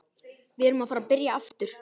Við erum að fara að byrja aftur.